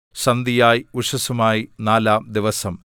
സന്ധ്യയായി ഉഷസ്സുമായി നാലാം ദിവസം